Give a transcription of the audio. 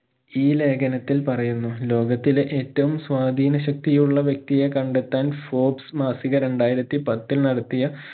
ഈ ലേഖനത്തിൽ പറയുന്നു ലോകത്തിലെ ഏറ്റവും സ്വാധീന ശക്തിയുള്ള വ്യക്തിയെ കണ്ടെത്താൻ folks മാസിക രണ്ടായിരത്തി പത്തിൽ നടത്തിയ